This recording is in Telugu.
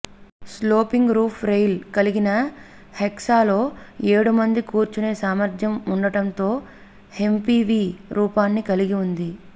స్లోపింగ్ రూఫ్ రెయిల్ కలిగిన హెక్సాలో ఏడు మంది కూర్చునే సామర్థ్యం ఉండటంతో ఎమ్పీవీ రూపాన్ని కలిగి ఉంది